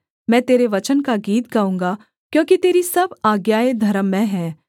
मैं तेरे वचन का गीत गाऊँगा क्योंकि तेरी सब आज्ञाएँ धर्ममय हैं